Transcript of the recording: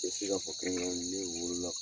E fo i ka fɔ kiii in ne wolo la.